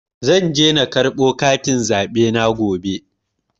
Zan je na karɓo katin zaɓe na gobe.